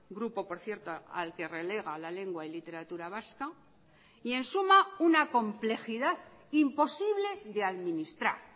grupo por cierto al que relega la lengua y literatura vasca y en suma una complejidad imposible de administrar